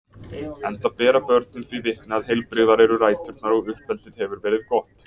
enda bera börnin því vitni að heilbrigðar eru ræturnar og uppeldið hefur verið gott.